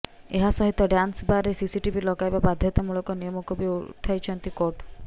ଏହା ସହିତ ଡ୍ୟାନ୍ସ ବାରରେ ସିସିଟିଭି ଲଗାଇବା ବାଧ୍ୟତାମୂଳକ ନିୟମକୁ ବି ଉଠାଇଛନ୍ତି କୋର୍ଟ